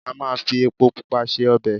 Ama fi epo Pupa se ọbẹ̀.